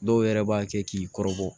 Dɔw yɛrɛ b'a kɛ k'i kɔrɔbɔ